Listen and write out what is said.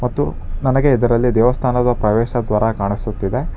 ಮತ್ತು ನನಗೆ ಇದರಲ್ಲಿ ದೇವಸ್ಥಾನದ ಪ್ರವೇಶ ದ್ವಾರ ಕಾಣಿಸುತ್ತಿದೆ.